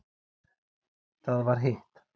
Það var hitt.